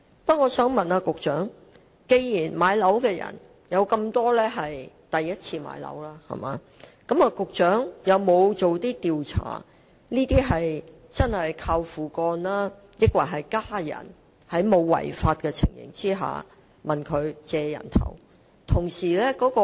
不過，我想問局長，既然大部分買家屬首次置業，局長有否進行調查，以了解這些買家究竟是"靠父幹"，抑或在其家人沒有違法的情況下"借人頭"？